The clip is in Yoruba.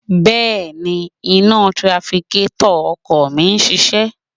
Bẹ́ẹ̀ni, iná tirafikétọ̀ ọkọ̀ mi ń ṣiṣẹ́